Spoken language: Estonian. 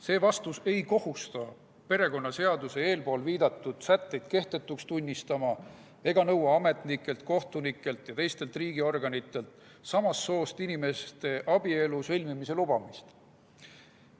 See vastus ei kohusta perekonnaseaduse eespool viidatud sätteid kehtetuks tunnistama ega nõua ametnikelt, kohtunikelt ja teistelt riigiorganitelt samast soost inimeste abielu sõlmimise lubamist.